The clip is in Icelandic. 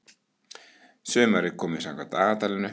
Sumarið komið samkvæmt dagatalinu